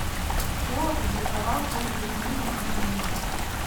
кто опубликовал первую книгу о магните